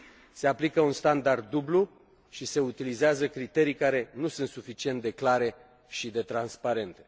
Se aplică un standard dublu și se utilizează criterii care nu sunt suficient de clare și de transparente.